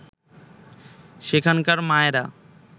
সেখানকার মায়েরা